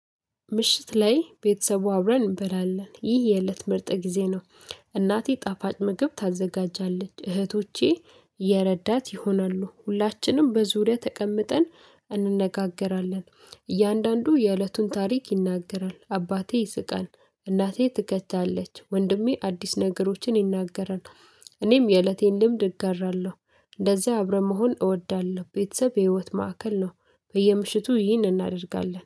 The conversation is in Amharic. ምሽት ላይ ቤተሰቡ አብረን እንበላለን። ይህ የእለት ምርጥ ጊዜ ነው። እናቴ ጣፋጭ ምግብ ታዘጋጃለች። እህቶቼ የረዳት ይሆናሉ። ሁላችንም በዙሪያ ተቀምጠን እንነጋገራለን። እያንዳንዱ የእለቱን ታሪክ ይናገራል። አባቴ ይስቃል። እናቴ ትከታለች። ወንድሜ አዲስ ነገሮችን ይናገራል። እኔም የእለቴን ልምድ እጋራለሁ። እንደዚህ አብረን መሆን እወዳለሁ። ቤተሰብ የህይወት ማዕከል ነው። በየምሽቱ ይህን እናደርጋለን።